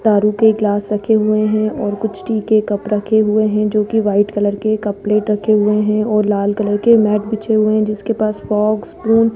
दारू के ग्लास रखे हुए हैं और कुछ टी के कप रखे हुए हैं जोकि व्हाइट कलर के कप प्लेट रखे हुए हैं और लाल कलर के मेट बिछे हुए हैं जिसके पास फोर्क स्पून --